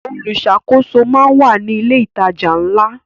Olùṣàkóso máa ń wà ní ilé ìtajà ńlá.